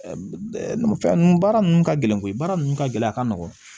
Fɛn ninnu baara ninnu ka gɛlɛn koyi baara ninnu ka gɛlɛ a ka nɔgɔ